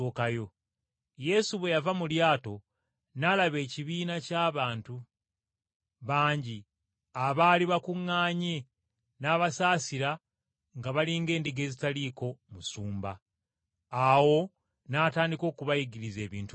Yesu bwe yava mu lyato n’alaba ekibiina ky’abantu bangi abaali bakuŋŋaanye n’abasaasira nga bali ng’endiga ezitalina musumba. Awo n’atandika okubayigiriza ebintu bingi.